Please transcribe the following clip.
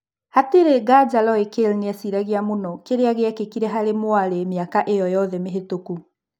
Hatirĩ nganja Roy Kale nĩeciragia mũno kĩria gĩekĩkire harĩ mwarĩ mĩaka ĩyo yothe mĩhetũku.